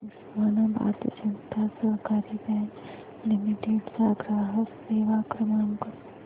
उस्मानाबाद जनता सहकारी bank limited चा ग्राहक सेवा क्रमांक